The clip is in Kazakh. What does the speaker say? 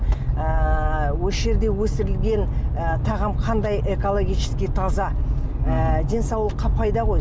ыыы осы жерде өсірілген ы тағам қандай экологически таза ы денсаулыққа пайда ғой